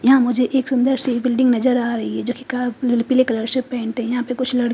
यहाँ मुझे एक सुंदर सी बिल्डिंग नज़र आरही है जो की कार पिले कलर से पेंट है यहाँ पर कुछ लड़--